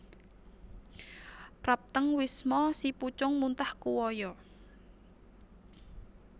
Praptèng wisma si pucung muntah kuwaya